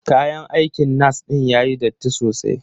Kayan aikin nas din yayi datti sosai.